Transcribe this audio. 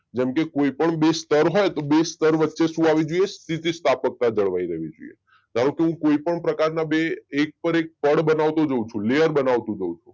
જેમ કે કોઈ પણ બે સ્તર હોય તો બે સ્તર વચ્ચે શું આવી જોઈએ સ્થિતિ સ્થાપકતા જળવાઈ રેહવી જોઈએ. ધારું કે હું કોઈ પણ પ્રકારના બે એક પર એક પળ બનાવતો જાઉં છું લેયર બનવતો જાઉં છું